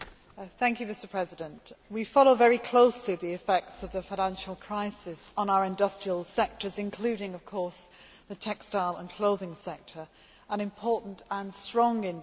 We follow very closely the effects of the financial crisis on our industrial sectors, including of course the textile and clothing sector, an important and strong industry in the European Union.